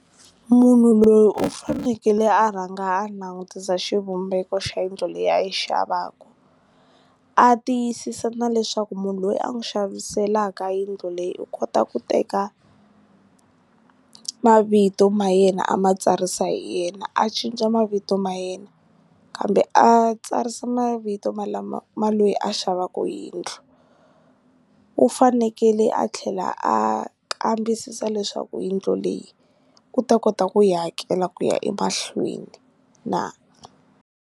Munhu loyi u fanekele a rhanga a langutisa xivumbeko xa yindlu leyi a yi xavaku, a tiyisisa na leswaku munhu loyi a n'wi xaviselaka yindlo leyi u kota ku teka mavito ma yena a ma tsarisa hi yena a cinca mavito ma yena kambe a tsarisa mavito ma lama ma lweyi a xavaku yindlu u fanekele a tlhela a kambisisa leswaku yindlu leyi u ta kota ku yi hakela ku ya emahlweni na.